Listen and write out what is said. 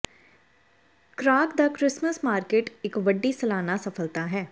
Krakow ਦਾ Christmas market ਇਕ ਵੱਡੀ ਸਾਲਾਨਾ ਸਫਲਤਾ ਹੈ